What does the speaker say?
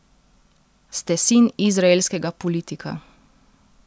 Ste sin izraelskega politika.